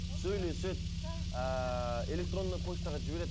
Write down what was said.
сөйлеседі ыыы электронный почтаға жібереді